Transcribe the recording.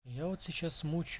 я вот сейчас